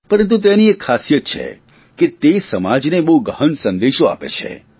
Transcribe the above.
પરંતુ તેની એક ખાસિયત છે કે તે સમાજને બહુ ગહન સંદેશો આપે છે